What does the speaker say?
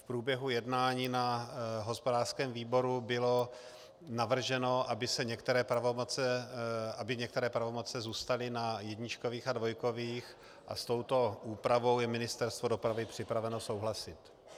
V průběhu jednání na hospodářském výboru bylo navrženo, aby některé pravomoci zůstaly na jedničkových a dvojkových, a s touto úpravou je Ministerstvo dopravy připraveno souhlasit.